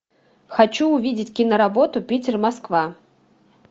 хочу увидеть киноработу питер москва